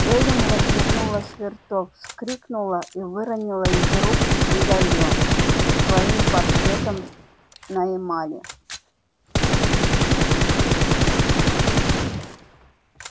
эллин развернула свёрток вскрикнула и выронила из рук медальон со своим портретом на эмали